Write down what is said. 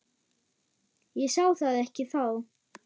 Ég sá það ekki þá.